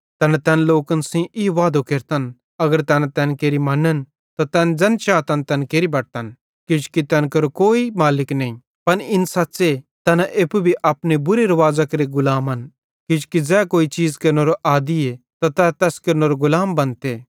तैना तैन लोकन सेइं ई वादो केरतन अगर तैना तैन केरि मनन त तैना ज़ैन चातन तैन केरि बटतन किजोकि तैन केरो कोई मालिक नईं पन इन सच़्च़े तैन एप्पू भी अपने बुरे रूवाज़ां केरे गुलामन किजोकि ज़ै कोई चीज़ केरनेरो आदी त तै तैस केरनेरो गुलाम बनते